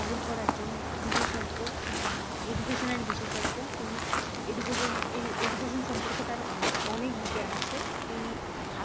রাহুল কর একজন বিশেষজ্ঞ মানে education এর বিশেষজ্ঞ। তিনি education~ education সম্পর্কে তার অন~ অনেক জ্ঞান আছে তিনি